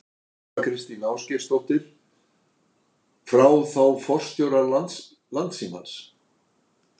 Þóra Kristín Ásgeirsdóttir: Frá þá forstjóra Landssímans?